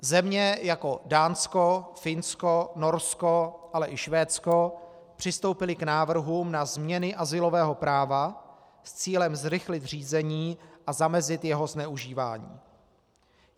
Země jako Dánsko, Finsko, Norsko, ale i Švédsko přistoupily k návrhům na změny azylového práva s cílem zrychlit řízení a zamezit jeho zneužívání.